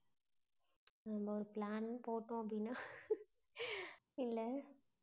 நம்ம ஒரு plan போட்டோம் அப்படின்னா இல்ல,